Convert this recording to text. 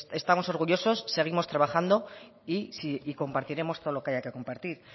estamos orgullosos seguimos trabajando y compartiremos todo lo que haya que compartir